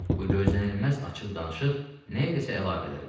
Bu gözlənilməz açıq danışıq nə iləsə əlaqədar idi.